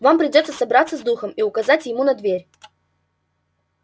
вам придётся собраться с духом и указать ему на дверь